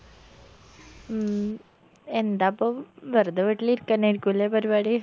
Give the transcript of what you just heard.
മ് എന്താപ്പോ വെർതെ വീട്ടിലിരിക്കെന്നേരിക്കു അലേ പരിപാടി